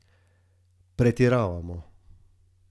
Pretiravamo.